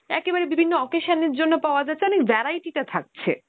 একেবারে বিভিন্ন occasion এর জন্য পাওয়া যাচ্ছে, মানে variety তা থাকছে।